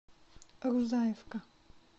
рузаевка